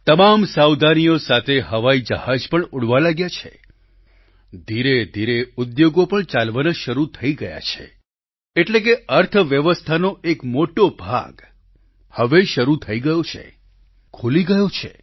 તમામ સાવધાનીઓ સાથે હવાઈ જહાજ પણ ઉડવા લાગ્યા છે ધીરેધીરે ઉદ્યોગો પણ ચાલવાના શરૂ થઈ ગયા છે એટલે કે અર્થવ્યવસ્થાનો એક મોટો ભાગ હવે શરૂ થઈ ગયો છે ખૂલી ગયો છે